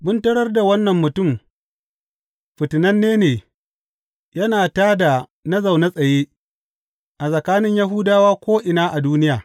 Mun tarar da wannan mutum fitinanne ne, yana tā da na zaune tsaye a tsakanin Yahudawa ko’ina a duniya.